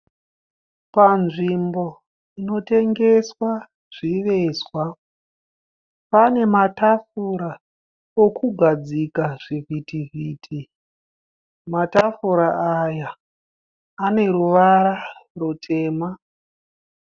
Panzvimbo inotengeswa zvivezwa. Pane matafura okugadzikira zvivhitivhiti. Matafura aya ane ruvara rutema.